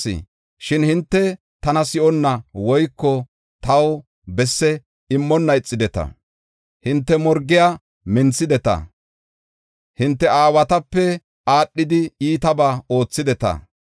Shin hinte tana si7onna woyko taw besse immonna ixideta. Hinte morgiya minthideta; hinte aawatape aadhidi iitabaa oothideta.